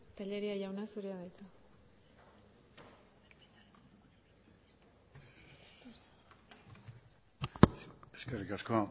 tellería jauna zurea da hitza eskerrik asko